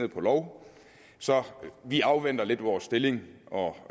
lov så vi afventer lidt med vores stillingtagen og